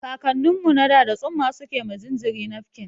Kakannin mu na da, da tsumma suke ma jinjiri nafkin.